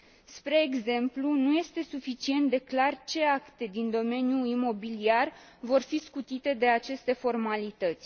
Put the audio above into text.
Spre exemplu, nu este suficient de clar ce acte din domeniul imobiliar vor fi scutite de aceste formalități.